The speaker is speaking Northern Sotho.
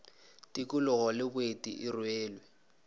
tikologo le boeti e rwele